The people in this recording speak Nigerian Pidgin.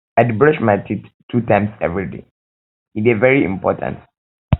i dey brush my teeth two times everyday e dey very important